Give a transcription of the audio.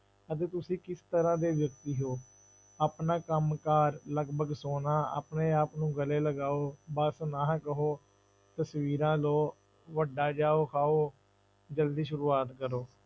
ਅਤੇ ਤੁਸੀਂ ਕਿਸ ਤਰ੍ਹਾਂ ਦੇ ਵਿਅਕਤੀ ਹੋ, ਆਪਣਾ ਕੰਮ ਕਾਰ ਲਗਪਗ ਸੌਣਾ, ਆਪਣੇ ਆਪ ਨੂੰ ਗਲੇ ਲਗਾਓ, ਬਸ ਨਾ ਕਹੋ, ਤਸ਼ਵੀਰਾਂ ਲਓ, ਵੱਡਾ ਜਾਓ ਖਾਓ, ਜ਼ਲਦੀ ਸ਼ੁਰੂਆਤ ਕਰੋ।